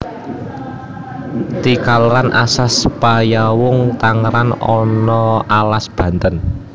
Ti kaler alas Panyawung tanggeran na alas Banten